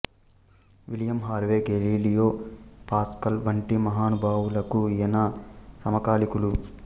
William Harvey Galileo Pascal వంటి మహానుభావులకు ఈయన సమకాలీకులు